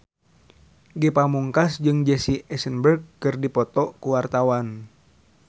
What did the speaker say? Ge Pamungkas jeung Jesse Eisenberg keur dipoto ku wartawan